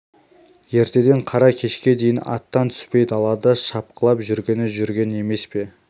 ертеден қара кешке дейін аттан түспей далада шапқылап жүргені жүрген емес пе